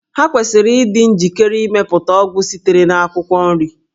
Ha kwesịrị ịdị njikere ịmepụta ọgwụ sitere na akwụkwọ nri